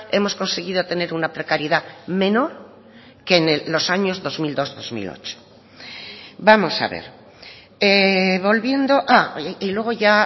hemos conseguido tener una precariedad menor que en los años dos mil dos dos mil ocho vamos a ver volviendo y luego ya